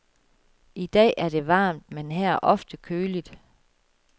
I dag er det varmt, men her er ofte køligt.